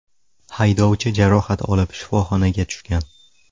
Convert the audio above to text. Haydovchi jarohat olib shifoxonaga tushgan.